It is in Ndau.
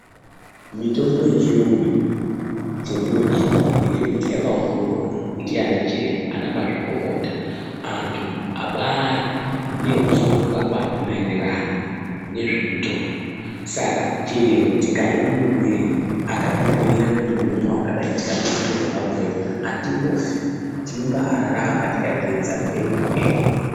Mitombo yechiyungu iyi ,chendinoidira, ngechekuti yakaongororwa ndiana chiremba, ana mazvikokota, anthu abaari neruzivo rwakakwana maererano nezvemitombo ,saka chero tikaimwa mumwirei, akatibhiira kuti unomwa wakadai ,mumwire waabhuya atimbofi, tinombaararama tikateedza ngemwo-ngemwo.